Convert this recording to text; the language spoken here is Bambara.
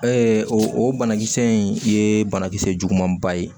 o banakisɛ in ye banakisɛ juguman ba ye